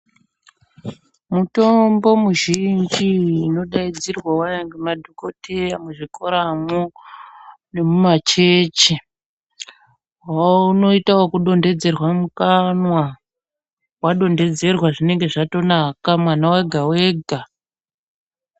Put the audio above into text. Mutombo muzhinji, iyi inodayidzirwa waya ngemadhokoteya muzvikora mo, nemumachechi, wawunoyita weku dondedzera mukanwa. Wadondedzerwa zvinenge zvatonaka mwana wega wega.